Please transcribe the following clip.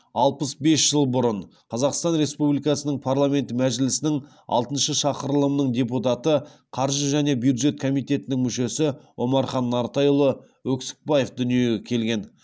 алпыс бес жыл бұрын қазақстан республикасының парламент мәжілісінің алтыншы шақырылымының депутаты қаржы және бюджет комитетінің мүшесі омархан нартайұлы өксікбаев дүниеге келген